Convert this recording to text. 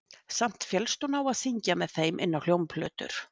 Samt féllst hún á að syngja með þeim inn á hljómplötur